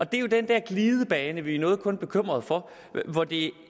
det er jo den der glidebane vi er noget bekymrede for